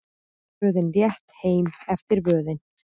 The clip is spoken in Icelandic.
Tröðin létt heim eftir vöðin.